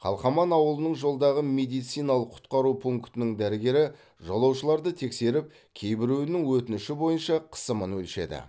қалқаман ауылының жолдағы медициналық құтқару пунктінің дәрігері жолаушыларды тексеріп кейбіреуінің өтініші бойынша қысымын өлшеді